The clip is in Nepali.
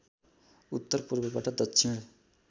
उत्तर पूर्वबाट दक्षिण